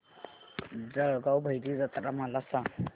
जळगाव भैरी जत्रा मला सांग